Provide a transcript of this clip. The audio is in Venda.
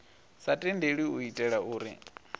sa tendelwi u itela uri